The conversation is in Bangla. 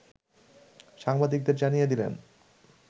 সাংবাদিকদের জানিয়ে দিলেন